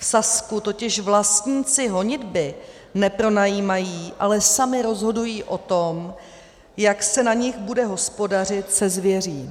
V Sasku totiž vlastníci honitby nepronajímají, ale sami rozhodují o tom, jak se na nich bude hospodařit se zvěří.